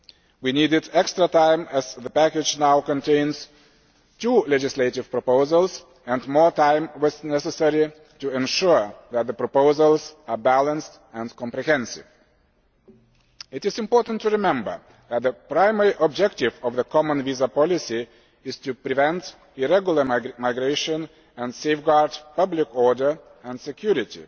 We needed extra time as the package now contains two legislative proposals, and more time was needed to ensure that the proposals are balanced and comprehensive. It is important to remember that the primary objective of the common visa policy is to prevent irregular migration and safeguard public order and security,